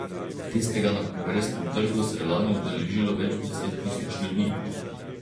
Tistega na Kongresnem trgu se je lani udeležilo več deset tisoč ljudi.